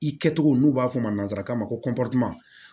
I kɛcogo n'u b'a fɔ a ma nanzarakan na ko